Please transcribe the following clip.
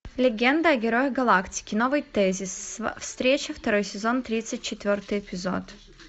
легенда о герое галактики новый тезис встреча второй сезон тридцать четвертый эпизод